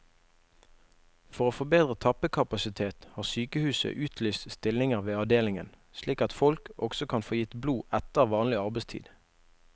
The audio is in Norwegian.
For å få bedre tappekapasitet, har sykehuset utlyst stillinger ved avdelingen, slik at folk også kan få gitt blod etter vanlig arbeidstid.